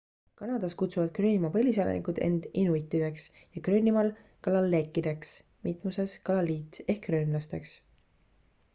kanadas kusuvad gröönimaa põliselanikud end inuitideks ja gröönimaal kalaalleq'ideks mitmuses kalallit ehk 'gröönlasteks'